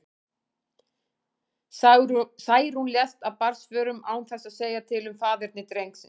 Særún lést af barnsförum, án þess að segja til um faðerni drengsins.